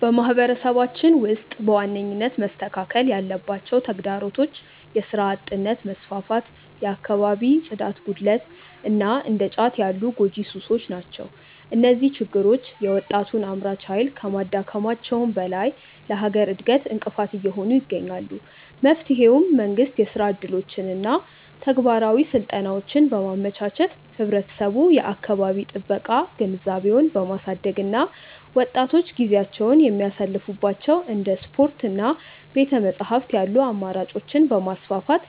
በማህበረሰባችን ውስጥ በዋነኝነት መስተካከል ያለባቸው ተግዳሮቶች የሥራ አጥነት መስፋፋት፣ የአካባቢ ጽዳት ጉድለት እና እንደ ጫት ያሉ ጎጂ ሱሶች ናቸው። እነዚህ ችግሮች የወጣቱን አምራች ኃይል ከማዳከማቸውም በላይ ለሀገር እድገት እንቅፋት እየሆኑ ይገኛሉ። መፍትሄውም መንግስት የሥራ ዕድሎችንና ተግባራዊ ስልጠናዎችን በማመቻቸት፣ ህብረተሰቡ የአካባቢ ጥበቃ ግንዛቤውን በማሳደግ እና ወጣቶች ጊዜያቸውን የሚያሳልፉባቸው እንደ ስፖርትና ቤተ-መጻሕፍት ያሉ አማራጮችን በማስፋፋት